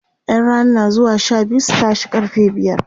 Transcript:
ƴan Rana na zuwa Sha biyu su tashe karfe biyar